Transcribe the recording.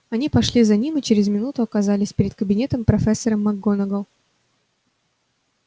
они пошли за ним и через минуту оказались перед кабинетом профессора макгонагалл